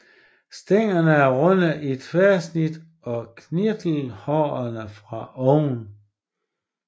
Stænglerne er runde i tværsnit og kirtelhårede for oven